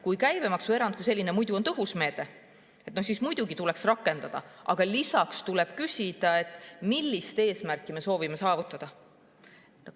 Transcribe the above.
Kui käibemaksuerand muidu on tõhus meede, siis muidugi tuleks seda rakendada, aga lisaks tuleb küsida, millist eesmärki me soovime saavutada.